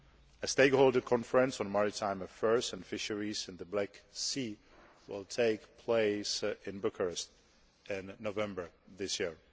A stakeholder conference on maritime affairs and fisheries in the Black Sea will take place in Bucharest in November this year.